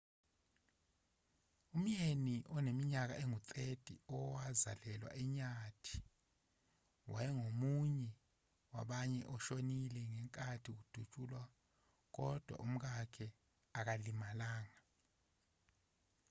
umyeni oneminyaka engu-30 owazalelwa enyathi wayengomunye wabane oshonile ngenkathi kudutshulwa kodwa umkakhe akalimalanga